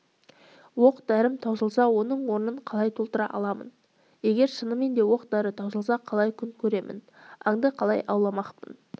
оқ-дәрім таусылса оның орнын қалай толтыра аламын егер шынымен де оқ-дәрі таусылса қалай күн көремін аңды қалай ауламақпын